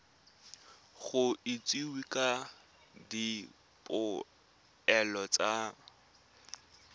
go itsisiwe ka dipoelo tsa